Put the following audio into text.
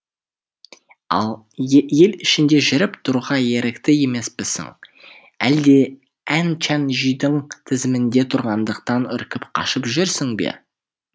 ал ел ішінде жүріп тұруға ерікті емеспісің әлде ән чән жүйдің тізімінде тұрғандықтан үркіп қашып жүрсің бе